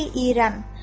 Baği İrəm.